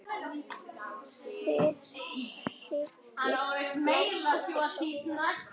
Þið hyggist blása til sóknar?